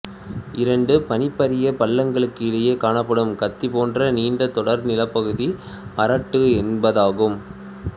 இரண்டு பனிபறிபள்ளங்களுக்கு இடையே காணப்படும் கத்தி போன்ற நீண்ட தொடர் நிலப்பகுதியே அரெட்டு என்பதாகும்